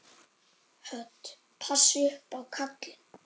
Hödd: Passa upp á kallinn?